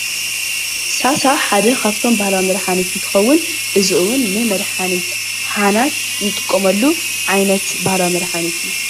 ሳሳ ሓደ ካብቶም ባህላዊ መድሓኒት እንትኸውን እዚ እውን ንመድሓኒት ሓናት እንጥቀመሉ ዓይነት ባህላዊ መድሓኒት እዩ፡፡